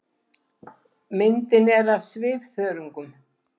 Myndin er af svifþörungum.